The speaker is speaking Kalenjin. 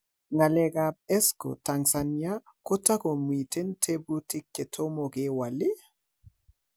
Ngalekab Escrow Tanzania ko tagomiten tebutik che tomo kewol ii?